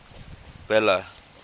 bela